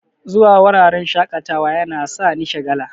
zuwa wuraren shaƙatawa yana sani shagala.